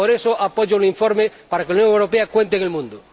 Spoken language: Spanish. Por eso apoyo el informe, para que la Unión Europea cuente en el mundo.